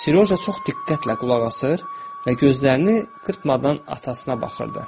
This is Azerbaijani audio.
Seroja çox diqqətlə qulaq asır və gözlərini qırpmadan atasına baxırdı.